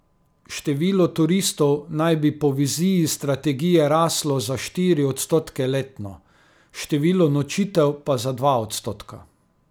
Število turistov naj bi po viziji strategije raslo za štiri odstotke letno, število nočitev pa za dva odstotka.